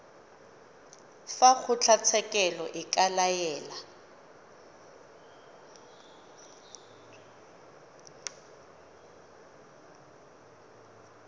fa kgotlatshekelo e ka laela